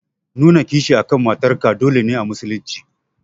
Nuna kishi akan matar ka dole ne a musulun ci.